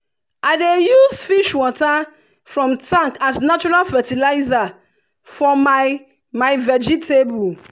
i dey use fish water from tank as natural fertilizer for my my vegetable.